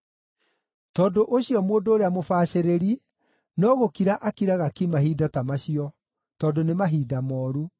Tondũ ũcio mũndũ ũrĩa mũbacĩrĩri no gũkira akiraga ki mahinda ta macio, tondũ nĩ mahinda mooru.